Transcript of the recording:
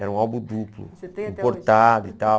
Era um álbum duplo, importado e tal.